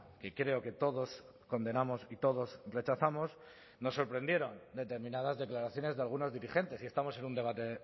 que creo que todos condenamos y todos rechazamos nos sorprendieron determinadas declaraciones de algunos dirigentes y estamos en un debate